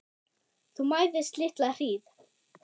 Þú mæðist litla hríð.